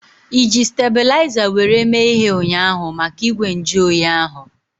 Iji stebulaiza were mee ihe ụnyaahụ maka igwe nju oyi ahu?